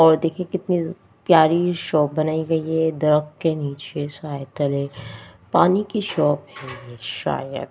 और देखिए कितनी प्यारी शॉप बनाई गई है दरख के नीचे साय तले पानी की शॉप शायद--